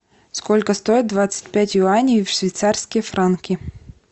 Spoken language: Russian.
сколько стоит двадцать пять юаней в швейцарские франки